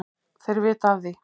Þeir vita af því,